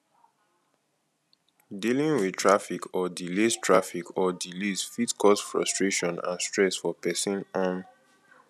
dealing with traffic or delays traffic or delays fit cause frustration and stress for pesin um